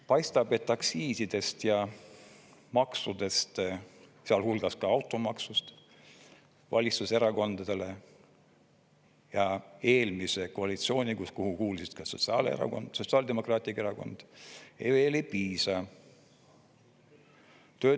Paistab, et aktsiisidest ja maksudest, sealhulgas automaksust, valitsuserakondadele ja eelmisele koalitsioonile, kuhu kuulus ka Sotsiaaldemokraatlik Erakond, veel ei piisa.